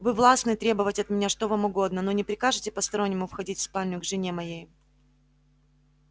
вы властны требовать от меня что вам угодно но не прикажите постороннему входить в спальню к жене моей